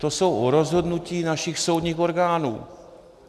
To jsou rozhodnutí našich soudních orgánů.